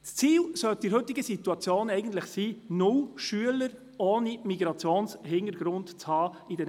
Eigentlich sollte es heute das Ziel sein, dass sich in den BVS nur Schüler mit Migrationshintergrund befinden.